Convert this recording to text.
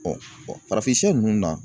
farafin ninnu na